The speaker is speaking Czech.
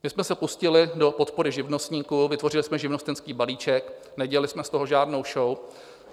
My jsme se pustili do podpory živnostníků, vytvořili jsme živnostenský balíček, nedělali jsme z toho žádnou šou.